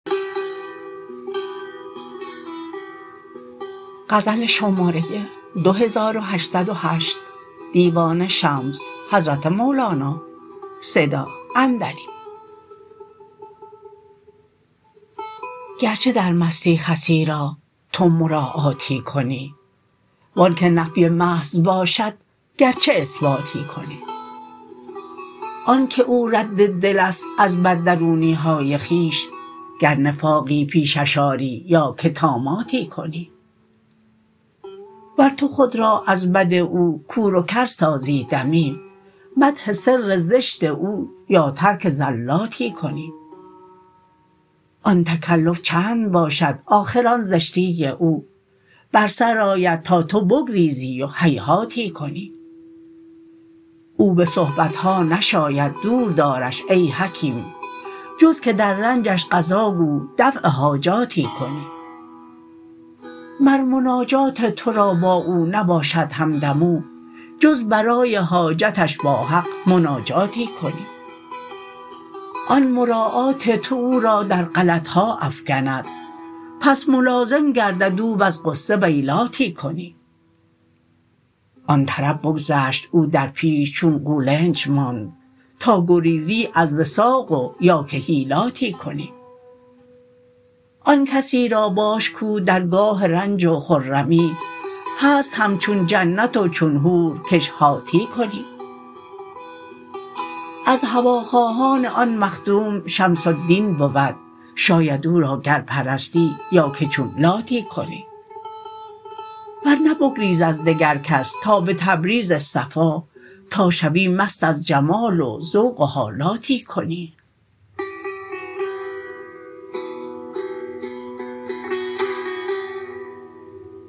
گرچه در مستی خسی را تو مراعاتی کنی و آنک نفی محض باشد گرچه اثباتی کنی آنک او رد دل است از بددرونی های خویش گر نفاقی پیشش آری یا که طاماتی کنی ور تو خود را از بد او کور و کر سازی دمی مدح سر زشت او یا ترک زلاتی کنی آن تکلف چند باشد آخر آن زشتی او بر سر آید تا تو بگریزی و هیهاتی کنی او به صحبت ها نشاید دور دارش ای حکیم جز که در رنجش قضاگو دفع حاجاتی کنی مر مناجات تو را با او نباشد همدم او جز برای حاجتش با حق مناجاتی کنی آن مراعات تو او را در غلط ها افکند پس ملازم گردد او وز غصه ویلاتی کنی آن طرب بگذشت او در پیش چون قولنج ماند تا گریزی از وثاق و یا که حیلاتی کنی آن کسی را باش کو در گاه رنج و خرمی هست همچون جنت و چون حور کش هاتی کنی از هواخواهان آن مخدوم شمس الدین بود شاید او را گر پرستی یا که چون لاتی کنی ور نه بگریز از دگر کس تا به تبریز صفا تا شوی مست از جمال و ذوق و حالاتی کنی